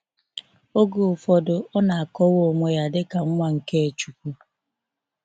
Oge ụfọdụ, ọ na akọwa onwe ya dịka nwa nke chukwu.